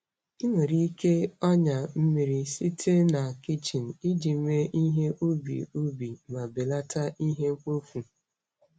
Ị nwere ike ọnyà mmiri site na kichin iji mee ihe ubi ubi ubi ma belata ihe mkpofu.